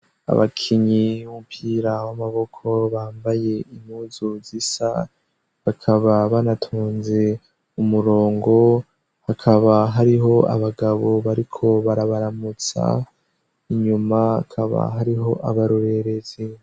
Abakinyi mbira w'amaboko bambaye impuzu zisa bakaba banatonze umurongo hakaba hariho abagabo bariko barabaramutsa inyuma akaba hariho abarorerezi.